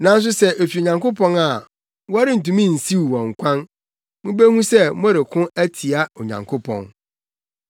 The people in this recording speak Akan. Nanso sɛ efi Onyankopɔn a, morentumi nsiw wɔn kwan. Mubehu sɛ moreko atia Onyankopɔn.”